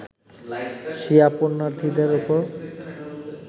শিয়া পূণ্যার্থীদের ওপর